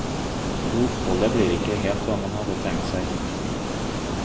Og oppholdet blir ikke helt hva han hadde tenkt seg.